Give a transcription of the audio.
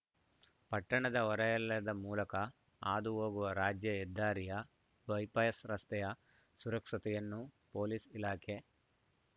ಪಟ್ಟಣದ ಹೊರೆಯಲದ ಮೂಲಕ ಹಾದು ಹೋಗುವ ರಾಜ್ಯ ಹೆದ್ದಾರಿಯ ಬೈಪಾಸ್ ರಸ್ತೆಯ ಸುರಕ್ಷತೆಯನ್ನು ಪೊಲೀಸ್ ಇಲಾಖೆ